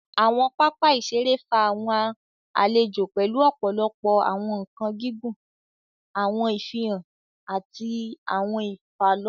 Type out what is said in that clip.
Awọn papa iṣere fa awọn alejò pẹlú ọpọlọpọ awọn nkan gígùn, awọn ifihan, ati awọn ifalọkan.